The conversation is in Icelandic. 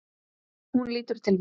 Hún lítur til mín.